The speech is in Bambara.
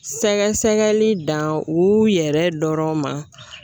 Sɛgɛsɛgɛli dan u yɛrɛ dɔrɔn ma